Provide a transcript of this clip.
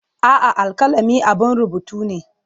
A'a, alkalami abun rubutu ne.